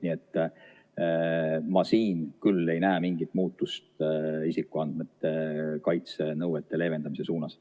Nii et ma siin küll ei näe mingit muutust isikuandmete kaitse nõuete leevendamise suunas.